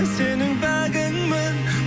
сенің пәгіңмін